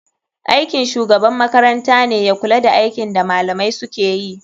Aikin shugaban makarantane ya kula da aikin da malamai sukeyi.